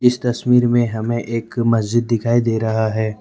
इस तस्वीर में हमें एक मस्जिद दिखाई दे रहा है।